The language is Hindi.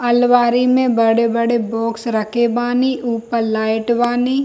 अलवारी में बड़े-बड़े बॉक्स रखे बानी ऊपर लाइट बानी।